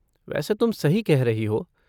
वैसे तुम सही कह रही हो।